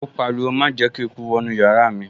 Ó pariwo, 'Má jẹ́ kí eku wọ inú yàrá mi'